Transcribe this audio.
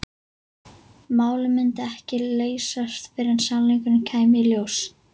Málið myndi ekki leysast fyrr en sannleikurinn kæmi í ljós.